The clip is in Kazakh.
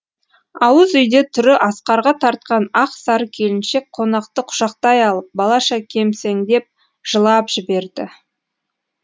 ауыз үйде түрі асқарға тартқан ақ сары келіншек қонақты құшақтай алып балаша кемсеңдеп жылап жіберді